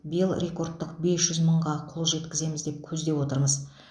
биыл рекордтық бес жүз мыңға қол жеткіземіз деп көздеп отырмыз